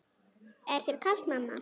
Er þér kalt mamma?